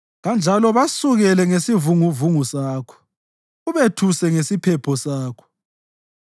kanjalo basukele ngesivunguvungu sakho ubethuse ngesiphepho sakho.